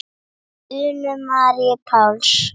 Unu Maríu Páls.